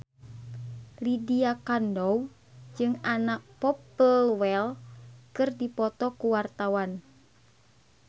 Lydia Kandou jeung Anna Popplewell keur dipoto ku wartawan